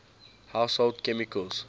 household chemicals